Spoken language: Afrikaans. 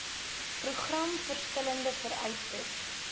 program verskillende vereistes